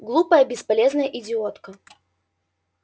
глупая бесполезная идиотка